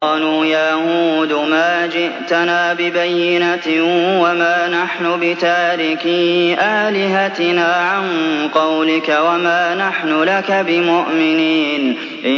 قَالُوا يَا هُودُ مَا جِئْتَنَا بِبَيِّنَةٍ وَمَا نَحْنُ بِتَارِكِي آلِهَتِنَا عَن قَوْلِكَ وَمَا نَحْنُ لَكَ بِمُؤْمِنِينَ